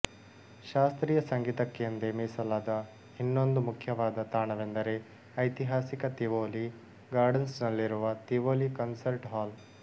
ಶಾಸ್ತ್ರೀಯ ಸಂಗೀತಕ್ಕೆಂದೇ ಮೀಸಲಾದ ಇನ್ನೊಂದು ಮುಖ್ಯವಾದ ತಾಣವೆಂದರೆ ಐತಿಹಾಸಿಕ ತಿವೋಲಿ ಗಾರ್ಡನ್ಸ್ ನಲ್ಲಿರುವ ತಿವೋಲಿ ಕನ್ಸರ್ಟ್ ಹಾಲ್